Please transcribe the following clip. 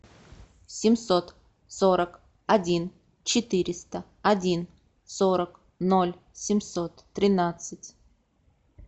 семьсот сорок один четыреста один сорок ноль семьсот тринадцать